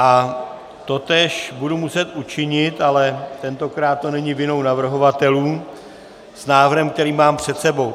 A totéž budu muset učinit, ale tentokrát to není vinou navrhovatelů, s návrhem, který mám před sebou.